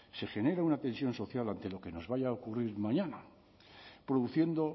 se genera una tensión social ante lo que nos vaya a ocurrir mañana produciendo